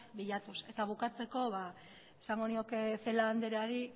bilatuz eta bukatzeko esango nioke celaá andreari